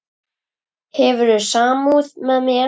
Hefur samúð með mér.